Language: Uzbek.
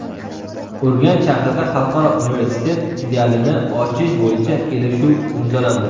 Urganch shahrida xalqaro universitet filialini ochish bo‘yicha kelishuv imzolandi.